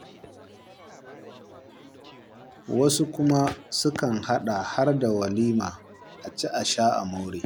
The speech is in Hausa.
Wasu kuma sukan haɗa har da walima, a ci a sha a more.